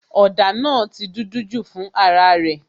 òdà naa ti dúdú ju fún ara rè